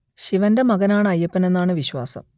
ശിവന്റെ മകൻ ആണ് അയ്യപ്പൻ എന്നാണ് വിശ്വാസം